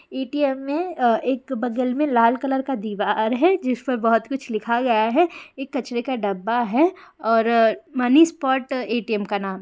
ATM. में अ एक बगल में लाल कलर का दीवार है जिस पर बहुत कुछ लिखा गया है एक कचरे का डब्बा है और मनीष स्पॉट ए.टि.एम का नाम--